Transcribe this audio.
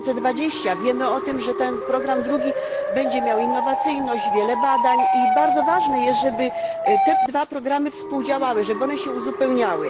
2020. Wiemy o tym, że ten drugi program będzie miał innowacyjność, wiele badań, i bardzo ważne jest, żeby te dwa programy współdziałały, żeby one się uzupełniały.